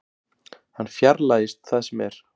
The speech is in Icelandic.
Hann fjarlægist það sem er.